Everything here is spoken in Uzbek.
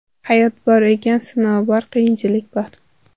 Hayot bor ekan, sinov bor, qiyinchilik bor.